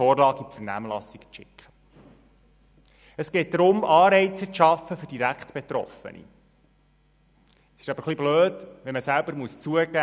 So zu tun, als würden das ein paar direkt Betroffene selber entscheiden, ist nicht richtig.